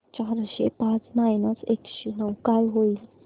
चारशे पाच मायनस एकशे नऊ काय होईल